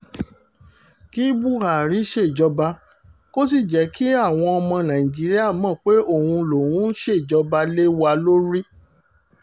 kí buhari ṣèjọba kó sì jẹ́ kí àwọn ọmọ nàìjíríà mọ̀ pé òun lòún ń ṣèjọba lé wa lórí